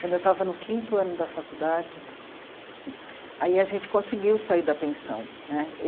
Quando eu estava no quinto ano da faculdade, aí a gente conseguiu sair da pensão né.